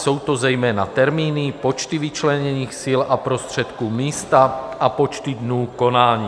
Jsou to zejména termíny, počty vyčleněných sil a prostředků, místa a počty dnů konání.